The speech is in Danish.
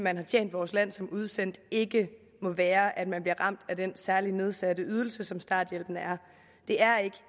at have tjent vores land som udsendt ikke må være at man bliver ramt af den særlige nedsatte ydelse som starthjælpen er det er ikke